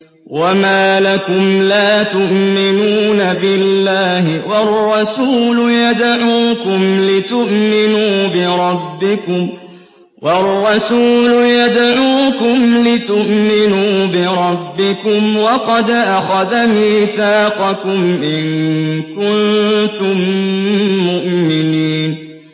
وَمَا لَكُمْ لَا تُؤْمِنُونَ بِاللَّهِ ۙ وَالرَّسُولُ يَدْعُوكُمْ لِتُؤْمِنُوا بِرَبِّكُمْ وَقَدْ أَخَذَ مِيثَاقَكُمْ إِن كُنتُم مُّؤْمِنِينَ